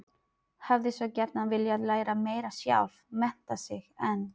Hefði svo gjarnan viljað læra meira sjálf, mennta sig, en